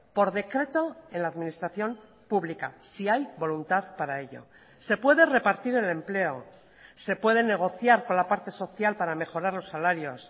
por decreto en la administración pública si hay voluntad para ello se puede repartir el empleo se puede negociar con la parte social para mejorar los salarios